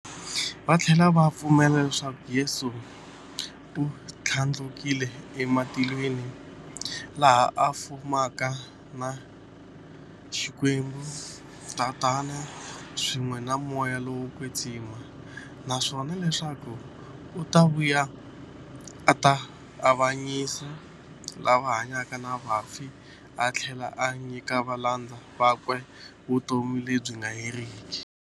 Vathlela va pfumela leswaku Yesu u thlandlukele ematilweni, laha a fumaka na Xikwembu-Tatana, swin'we na Moya lowo kwetsima, naswona leswaku u ta vuya a ta avanyisa lava hanyaka na vafi athlela a nyika valandzeri vakwe vutomi lebyi nga heriki.